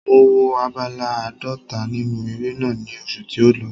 Mo wo abala àádọ́ta nínú eré náà ní oṣù tí ó lọ.